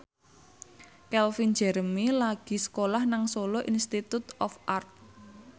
Calvin Jeremy lagi sekolah nang Solo Institute of Art